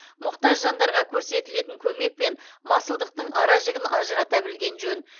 мұқтаж жандарға көрсетілетін көмек пен масылдықтың ара жігін ажырата білген жөн